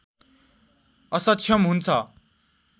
असक्षम हुन्छ